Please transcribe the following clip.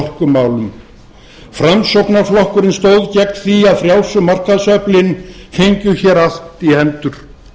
orkumálum framsóknarflokkurinn stóð gegn því að frjálsu markaðsöflin fengju hér allt í hendur